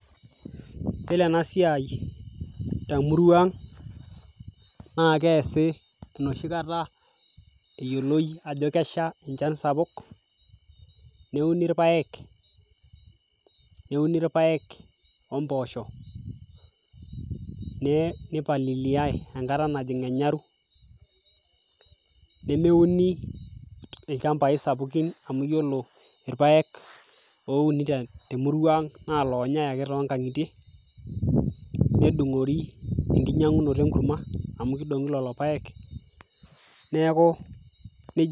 Yiolo enasiai temurua ang', naa keesi enoshi kata eyioloi ajo kesha enchan sapuk, neuni irpaek, neuni irpaek ompoosho, nipaliliai enkata najing' enyaru, nemwuni ilchambai sapukin amu yiolo irpaek ouni temurua ang' na loonyai ake tonkang'itie, nedung'ori enkinyang'unoto enkurma, amu kidong'i lelo paek, neeku nejia.